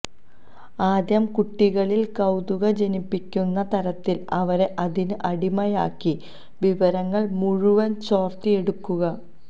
ആദ്യം കുട്ടികളില് കൌതുകം ജനിപ്പിക്കുന്ന തരത്തില് അവരെ അതിന് അടിമയാക്കി വിവരങ്ങള് മുഴുവന് ചോര്ത്തിയെടുക്കും